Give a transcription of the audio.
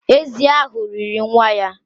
Ézì ahụ riri nwa ya